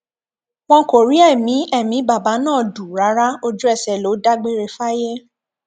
wọn kò rí ẹmí ẹmí bàbá náà dù rárá ojúẹsẹ ló dágbére fáyé